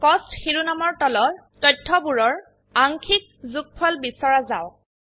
কষ্ট শিৰোনামৰ তলৰ তথ্যবোৰৰ আংশিক যোগফল বিছৰা যাওক